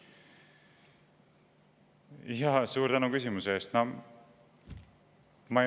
Suur tänu küsimuse eest!